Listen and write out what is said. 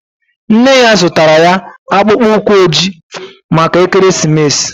Nne ya zụtara ya akpụkpọ ụkwụ ojii maka ekeresimesi